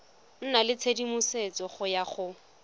nna le tshedimosetso ya go